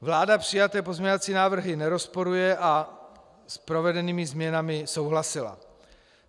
Vláda přijaté pozměňovací návrhy nerozporuje a s provedenými změnami souhlasila.